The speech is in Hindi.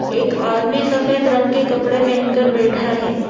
एक आदमी सफेद रंग के कपड़े पहेन कर बैठा है।